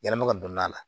Yɛlɛma ka don n'a la